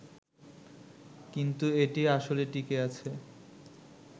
কিন্তু এটি আসলে টিঁকে আছে